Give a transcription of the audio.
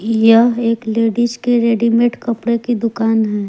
यह एक लेडिस के रेडीमेड कपड़े की दुकान है।